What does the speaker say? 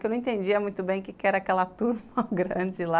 Que eu não entendia muito bem o que era aquela turma grande lá.